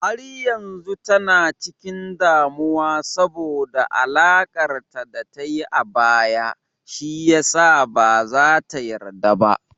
Har yanzu tana cikin damuwa saboda alakar da ta yi a baya, shi ya sa ba za ta yarda ba.